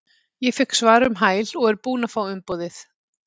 Ég fékk svar um hæl og er búinn að fá umboðið.